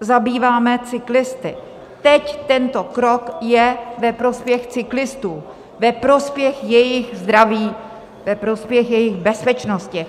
zabýváme cyklisty, teď tento krok je ve prospěch cyklistů, ve prospěch jejich zdraví, ve prospěch jejich bezpečnosti.